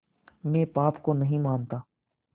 मैं पाप को नहीं मानता